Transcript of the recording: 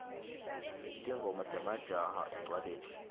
tingoma temajaha encwaleni